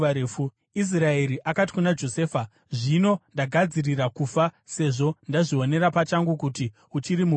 Israeri akati kuna Josefa, “Zvino ndagadzirira kufa, sezvo ndazvionera pachangu kuti uchiri mupenyu.”